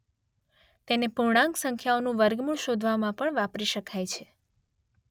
તેને પૂર્ણાંક સંખ્યાઓનું વર્ગમૂળ શોધવામાં પણ વાપરી શકાય છે.